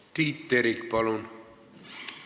Tiit Terik, palun!